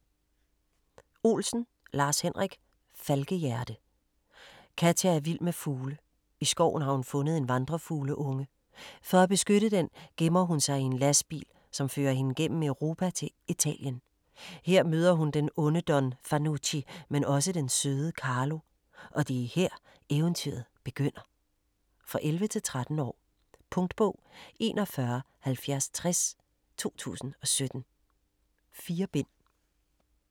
Olsen, Lars-Henrik: Falkehjerte Katja er vild med fugle. I skoven har hun fundet en vandrefugleunge. For at beskytte den gemmer hun sig i en lastbil, som fører hende gennem Europa til Italien. Her møder hun den onde Don Fanucci men også den søde Carlo. Og det er her eventyret begynder ... For 11-13 år. Punktbog 417060 2017. 4 bind.